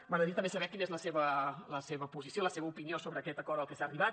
m’agradaria també saber quina és la seva posició la seva opinió sobre aquest acord al que s’ha arribat